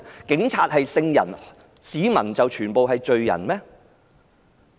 警察是聖人，市民全是罪人嗎？